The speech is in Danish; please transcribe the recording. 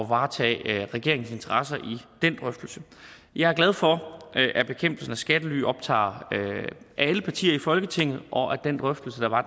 varetage regeringens interesser i den drøftelse jeg er glad for at bekæmpelsen af skattely optager alle partier i folketinget og at den drøftelse der var